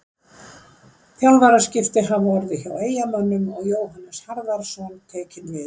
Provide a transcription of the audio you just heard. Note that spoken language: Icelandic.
Þjálfaraskipti hafa orðið hjá Eyjamönnum og Jóhannes Harðarson tekinn við.